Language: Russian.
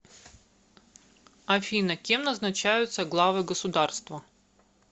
афина кем назначаются главы государства